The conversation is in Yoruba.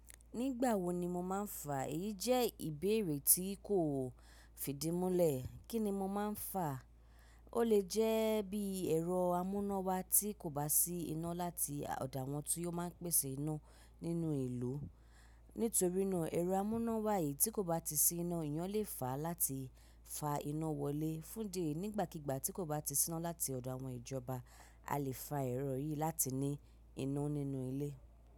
Nígbà wo ni mo má ń fà? Èyí jẹ́ ìbéèrè tí kò fìdí múlẹ̀. Kíni mo má ń fà? Ó lè jẹ́ bí ẹ̀rọ amú ina wa tí kò bá sí iná láti ọ̀do awọn tí ó máa ń pèsè iná nínú ìlú. Nítorí náà ẹ̀rọ amú iná wá yìí tí kò bá ti sí iná, eyán lè fà á láti fa iná wọlé. Fún idi ẹyi nígbàkígbà tí kò bá ti sí iná láti ọ̀dọ̀ àwọn ìjọba, a lè fa ẹ̀rọ yìí láti ní iná nínú ilé.